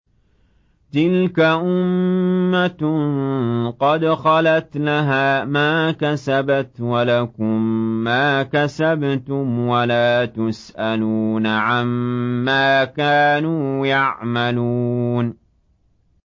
تِلْكَ أُمَّةٌ قَدْ خَلَتْ ۖ لَهَا مَا كَسَبَتْ وَلَكُم مَّا كَسَبْتُمْ ۖ وَلَا تُسْأَلُونَ عَمَّا كَانُوا يَعْمَلُونَ